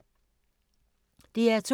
DR2